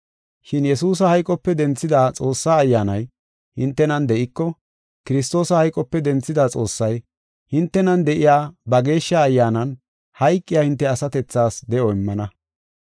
Shin Yesuusa hayqope denthida Xoossaa Ayyaanay hintenan de7iko, Kiristoosa hayqope denthida Xoossay, hintenan de7iya ba Geeshsha Ayyaanan hayqiya hinte asatethaas de7o immana.